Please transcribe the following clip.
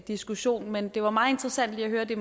diskussion men det var meget interessant lige at høre at det